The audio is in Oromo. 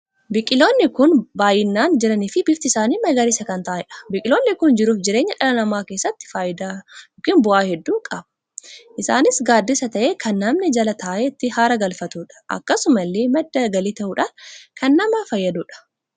Biqiloonni kun biqiloota baay'inaan jiranii fi bifti isaanii magariisa kan taa'aniidha. biqiloonni kun jiruu fi jireenya dhala namaa keessatti faayidaa ykn bu'aa hedduu qaba. Innis gaddisaa tahee kan namni jala taa'ee itti haara galfatuudha. Akkasumallee madda galii tahuudhaan kan nama fayyaduudha.